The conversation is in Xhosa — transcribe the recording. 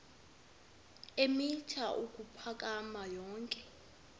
eemitha ukuphakama yonke